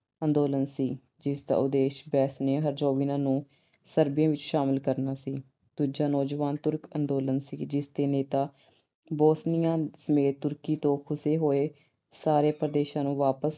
ਅੰਦੋਲਨ ਸੀ ਜਿਸਦਾ ਉਦੇਸ਼ Bosnia Herzegovina ਨੂੰ Serbia ਵਿੱਚ ਸ਼ਾਮਲ ਕਰਨਾ ਸੀ। ਦੂਜਾ ਨੌਜਵਾਨ Turk ਅੰਦੋਲਨ ਸੀ ਜਿਸਦੇ ਨੇਤਾ Bosnia ਸਮੇਤ ਤੁਰਕੀ ਤੋਂ ਖੁਸੇ ਹੋਏ ਸਾਰੇ ਪ੍ਰਦੇਸ਼ਾਂ ਨੂੰ ਵਾਪਸ